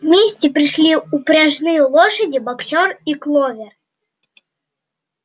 вместе пришли упряжные лошади боксёр и кловер